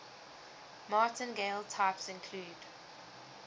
martingale types include